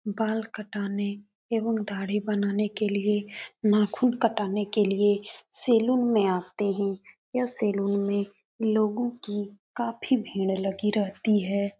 बाल कटाने ऐवम दाढ़ी बनाने के लिये नाख़ून कटाने के लिये सैलून में आते हैं। यह सैलून में लोगों कि काफी भीड़ लगी रहती है।